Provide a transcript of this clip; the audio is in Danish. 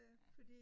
Ja